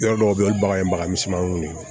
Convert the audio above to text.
Yɔrɔ dɔw bɛ yen olu bagan ye baga misɛnmaninw ye